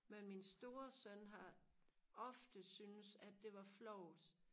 men min store søn har ofte syntes at det var flovt